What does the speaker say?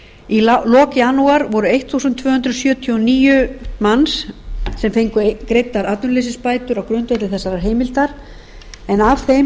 í lok janúar voru tólf hundruð sjötíu og níu manns sem fengu greiddar atvinnuleysisbætur á grundvelli þessarar heimildar en af þeim